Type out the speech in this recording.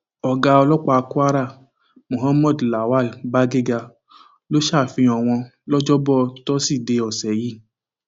ọgá ọlọpàá kwara muhammed lawal bagega ló ṣàfihàn wọn lọjọbọ tọsídẹẹ ọsẹ yìí